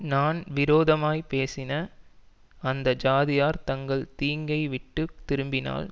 நான் விரோதமாய்ப் பேசின அந்த ஜாதியார் தங்கள் தீங்கைவிட்டுத் திரும்பினால்